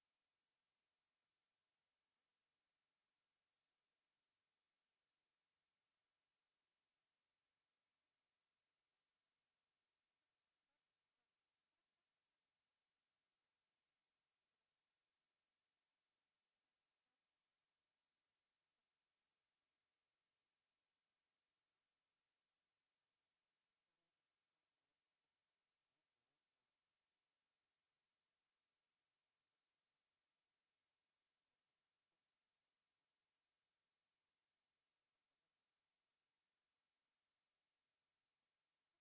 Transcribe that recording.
to